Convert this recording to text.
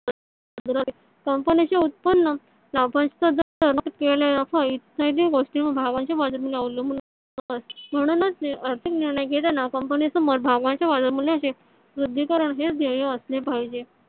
कंपनीचे उत्पन्न लाभांश इत्यादि गोष्टी भागांच्या बाजार मूल्या वर अवलंबून असते . म्हणूनच आर्थिक निर्णय घेतांना कंपनी समोर भागांच्या बाजार मूल्याचे वृद्धिकरण हेच ध्येय असले पाहिजे.